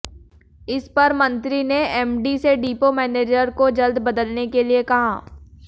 इस पर मंत्री ने एमडी से डिपो मैनेजर को जल्द बदलने के लिए कहा